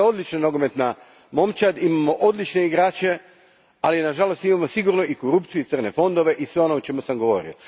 Hrvatska je odlična nogometna momčad, imamo odlične igrače, ali nažalost imamo sigurno i korupciju i crne fondove i sve ono o čemu sam govorio.